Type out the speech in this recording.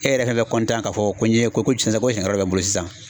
E yɛrɛ fɛnɛ bɛ k'a fɔ ko n ye ko ko tiɲɛ ko wɛrɛ n bolo sisan